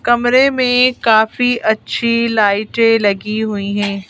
कमरे में काफी अच्छी लाइटें लगी हुई हैं।